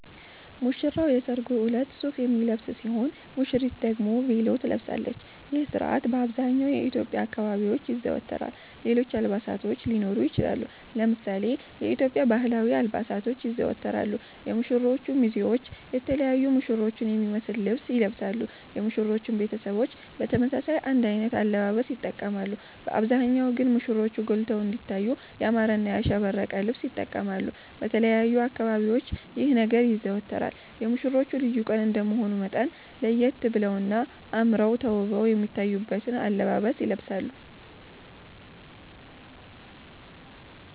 ሙሽራዉ የሰርጉ እለት ሱፍ የሚለብስ ሲሆን ሙሽሪት ደግሞ ቬሎ ትለብሳለች ይህ ስርአት በአብዘሃኛዉ የኢትዮዽያ አካባቢዎች ይዘወተራል ሌሎች አልባሳቶች ሊኖሩ ይችላሉ። ለምሳሌ የኢትዮዽያ ባህላዊ አልባሳቶች ይዘወተራሉ የሙሽሮቹ ሚዜዎች የተለያዩ ሙሽሮቹን የሚመሰል ልብስ ይለብሳሉ የሙሽሮቹም ቤተሰቦች በተመሳሳይ አንድ አይነት አለባበስ ይተቀማሉ በአብዛሃኛዉ ግን ሙሽሮቹ ጎልተዉ እንዲታዩ ያማረና ያሸበረቀ ልብስ ይተቀማሉ። በተለያዩ አካባቢዎች ይህ ነገር ይዘወተራል የሙሽሮቹ ልዩ ቀን እንደመሆኑ መጠን ለየት በለዉና አመረዉ ተዉበዉ የሚታዩበትን አለባበስ ይለብሳሉ